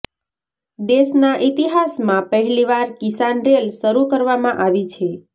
દેશના ઇતિહાસમાં પહેલીવાર કિસાન રેલ શરૂ કરવામાં આવી છે